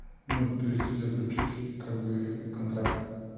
ну то есть и заключить как бы контракт